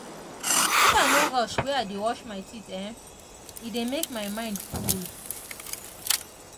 if i no rush when i dey wash my teeth[um]e dey make my mind koole